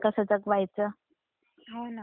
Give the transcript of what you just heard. हम्म.